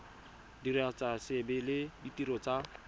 diragatsa seabe le ditiro tsa